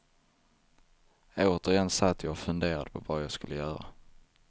Återigen satt jag och funderade på vad jag skulle göra.